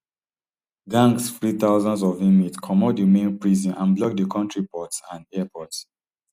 gangs free thousands of inmates comot di main prison and block di kontri ports and arport